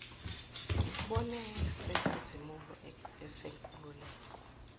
yisibonelo esikhazimulayo senkululeko